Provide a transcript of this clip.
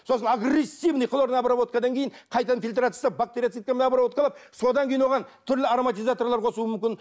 сосын агрессивный хлорная обработкадан кейін қайтадан фильтрация жасап обработкалап содан кейін оған түрлі ароматизаторлар қосуы мүмкін